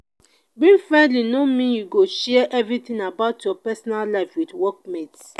being friendly no mean you go share everything about your personal life with workmates.